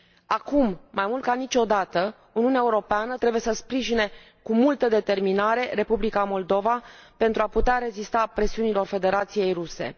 Acum, mai mult ca niciodată, Uniunea Europeană trebuie să sprijine cu multă determinare Republica Moldova, pentru a putea rezista presiunilor Federației Ruse.